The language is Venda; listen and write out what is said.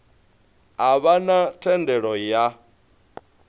a vha na thendelo ya